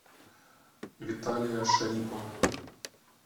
виталия шарипова